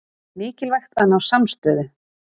Mikilvægt að ná samstöðu